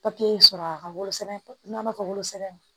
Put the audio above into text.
papiye sɔrɔ a ka wolosɛbɛn n'an b'a fɔ wolosɛbɛn